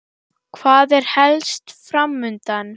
Hvað er helst fram undan?